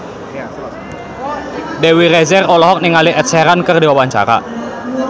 Dewi Rezer olohok ningali Ed Sheeran keur diwawancara